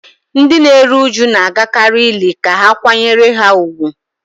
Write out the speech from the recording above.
Ndị na-eru uju na-agakarị ili ka ha kwanyere ha ùgwù